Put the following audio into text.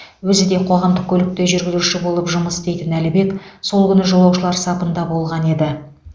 өзі де қоғамдық көлікте жүргізуші болып жұмыс істейтін әлібек сол күні жолаушылар сапында болған еді